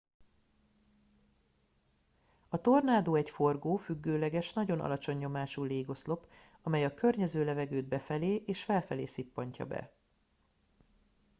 a tornádó egy forgó függőleges nagyon alacsony nyomású légoszlop amely a környező levegőt befelé és felfelé szippantja be